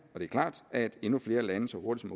at endnu flere lande så hurtigt